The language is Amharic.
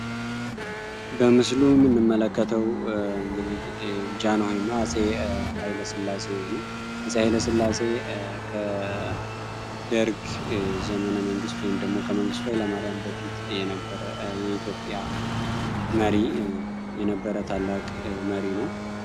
በምስሉ ምንመለከተው እንግዲህ ጃን ሆይ ኃይለ ስላሴ ነው አጽ ኃይለ ስላሴ ከደርግ ዘመነ መንግሥት ወይም ደሞ ከመንግስቱ ላይ ለማርያን በፊት የነበረ የኢትዮጵያ መሪ የነበረ ታላቅ መሪ ነው።